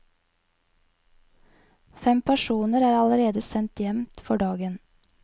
Fem personer er allerede sendt hjem for dagen.